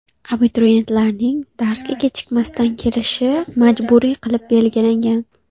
Abituriyentlarning darsga kechikmasdan kelishi majburiy qilib belgilangan.